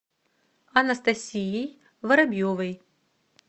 анастасией воробьевой